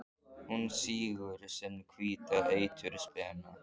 Hún sýgur sinn hvíta eitur spena.